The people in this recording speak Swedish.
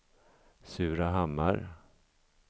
Surahammar